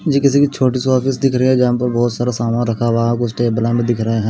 ये किसी की छोटी सी ऑफिस दिख रही है जहां पर बहोत सारा सामान रखा हुआ कुछ टेबला भी दिख रहे है।